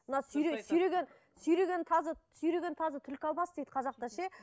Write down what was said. мына сүйреген сүйреген тазы сүйреген тазы түлкі алмас дейді қазақта ше